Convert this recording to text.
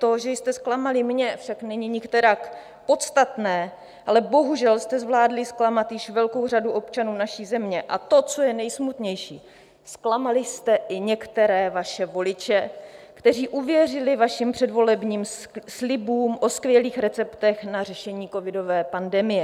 To, že jste zklamali mě, však není nikterak podstatné, ale bohužel jste zvládli zklamat již velkou řadu občanů naší země, a to, co je nejsmutnější, zklamali jste i některé vaše voliče, kteří uvěřili vašim předvolebním slibům o skvělých receptech na řešení covidové pandemie.